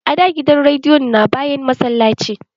A da gidan rediyon na bayan massallaci